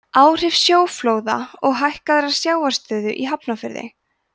áhrif sjóflóða og hækkaðrar sjávarstöðu í hafnarfirði